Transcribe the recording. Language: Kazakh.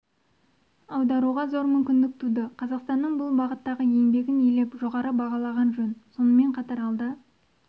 аударуға зор мүмкіндік туды қазақстанның бұл бағыттағы еңбегін елеп жоғары бағалаған жөн сонымен қатар алда